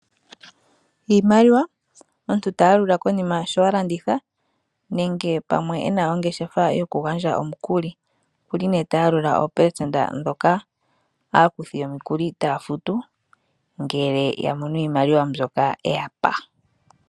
Iimaliwa , Omuntu oha yalula iimaliwa konima sho a landitha nenge pamwe e na ongeshefa yokugandja omukuli. Oku li nduno ha yalula oopelesenda ndhoka aakuthi yomukuli taya futu ngele ya mono iimaliwa mbyoka e ya pa.